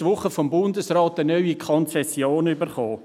Die SRG hat vom Bundesrat letzte Woche eine neue Konzession erhalten.